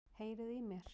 Heyriði í mér?